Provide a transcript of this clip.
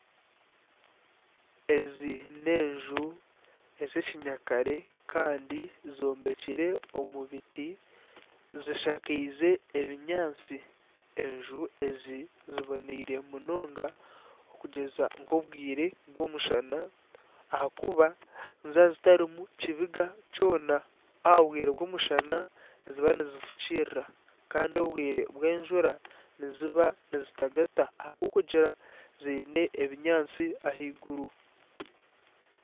Ezi n'enju ezekinyakare kandi zombekire omu biti zishakiize ebinyaatsi. Enju ezi ziboneire munonga okugyeza nk'obwire bw'omushana ahakuba niziba zitarimu kibiga kyona. Omu bwire bw'omushana niziba nizifukirira kandi obwire bwenjura niziba nizitagata ahabwokugira ziine ebinyaatsi ahaiguru.